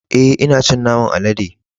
E,ina cin naman alade.